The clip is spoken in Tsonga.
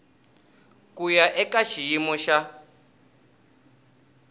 ku ya eka xiyimo xa